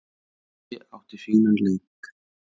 Logi átti fínan leik